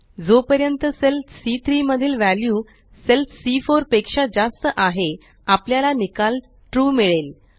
जोपर्यंत सेल सी3 मधील वॅल्यू सेल सी4 पेक्षा जास्त आहे आपल्याला निकाल ट्रू मिळेल